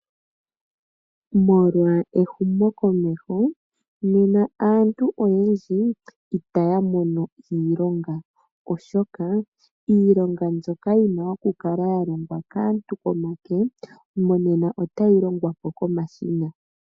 Molwa ehumo komeho nena aantu oyendji itaya mono iilonga oshoka iilonga mbyoka yina okukala ya longwa kaantu koonyala otayi longwa po komashina.